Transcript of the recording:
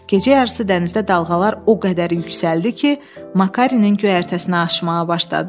Gecə yarısı dənizdə dalğalar o qədər yüksəldi ki, Makarenin göyərtəsinə aşmağa başladı.